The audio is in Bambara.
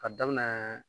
Ka daminɛ